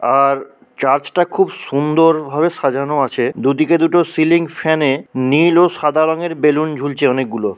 আর চার্চটা খুব সুন্দর ভাবে সাজানো আছে। দুদিকে দুটো সিলিং ফ্যানে নীল ও সাদা রঙের বেলুন ঝুলছে অনেকগুলো--